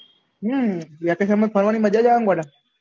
હમ vacation માં ફરવાની મજા જ આવે ગોળા